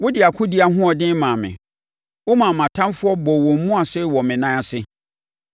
Wode akodie ahoɔden maa me; womaa mʼatamfoɔ bɔɔ wɔn mu ase wɔ me nan ase.